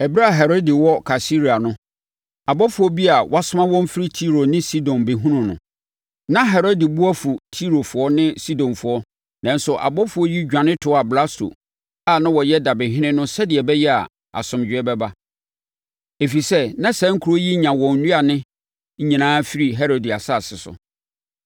Ɛberɛ a Herode wɔ Kaesarea no, abɔfoɔ bi a wɔasoma wɔn firi Tiro ne Sidon bɛhunuu no. Na Herode bo afu Tirofoɔ ne Sidonfoɔ. Nanso, abɔfoɔ yi dwane toaa Blasto a na ɔyɛ dabehene no sɛdeɛ ɛbɛyɛ a asomdwoeɛ bɛba, ɛfiri sɛ, na saa nkuro yi nya wɔn nnuane nyinaa firi Herode asase so.